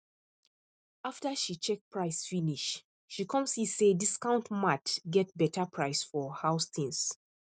after she check price finish she come see say discount mart get better price for house things